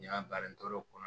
N y'a balo n tor'o kɔnɔ